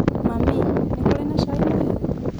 Mami, nĩ kũrĩ na cai mũhiũ?